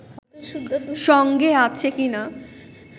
সঙ্গে আছে কিনা